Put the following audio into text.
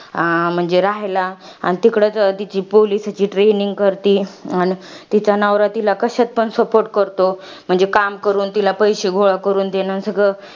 म्हणजे राहायला, अन तिकडच तिची police ची training करती. अन तिचा नवरा तिला कश्यात पण support करतो. म्हणजे काम करून, तिला पैशे गोळा करून देणं सगळं.